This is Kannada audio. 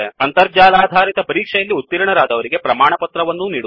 ಅಂತರ್ಜಾಲಾಧಾರಿತ ಪರೀಕ್ಷೆಯಲ್ಲಿ ಉತೀರ್ಣರಾದವರಿಗೆ ಪ್ರಮಾಣಪತ್ರವನ್ನೂ ನೀಡುತ್ತದೆ